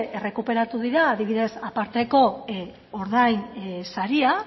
errekuperatu dira adibidez aparteko ordainsaria